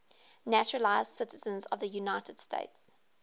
naturalized citizens of the united states